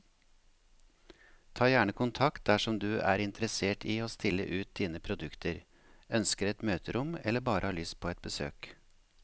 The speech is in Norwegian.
Ta gjerne kontakt dersom du er interessert i å stille ut dine produkter, ønsker et møterom eller bare har lyst på et besøk.